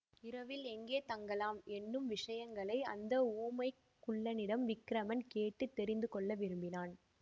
இரவில் எங்கே தங்கலாம் என்னும் விஷயங்களை அந்த ஊமைக் குள்ளனிடம் விக்கிரமன் கேட்டு தெரிந்து கொள்ள விரும்பினான்